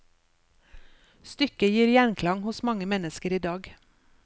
Stykket gir gjenklang hos mange mennesker i dag.